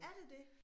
Er det det?